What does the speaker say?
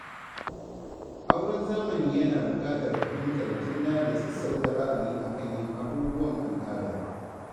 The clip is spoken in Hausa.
Auren zamani yana buƙatar fahimtar juna da sassauta ra'ayi a kan yin abubuwan al'ada.